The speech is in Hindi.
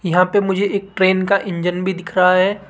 यहां पे मुझे एक ट्रेन का इंजन भी दिख रहा है।